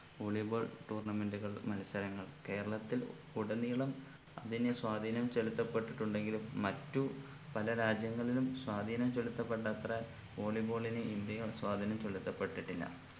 volley ball tournament കൾ മത്സരങ്ങൾ കേരളത്തിൽ ഉടനീളം അതിന് സ്വാധീനം ചെലുത്തപ്പെട്ടിട്ടുണ്ടെങ്കിലും മറ്റു പല രാജ്യങ്ങളിലും സ്വാധീനം ചൊലുത്തപെട്ട അത്രെ volley ball ന് ഇന്ത്യയിൽ ചൊലുത്തപ്പെട്ടിട്ടില്ല